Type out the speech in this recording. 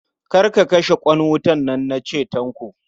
Kar ka kashe ƙwan nan na ce, Tanko.